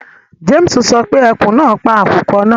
James sọ pé ekun náà pa àkùkọ náà